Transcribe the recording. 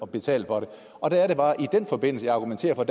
betale for det og der er det bare at jeg i den forbindelse argumenterer for at